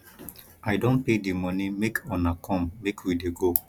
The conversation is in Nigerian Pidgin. i don pay the money make una come make we dey go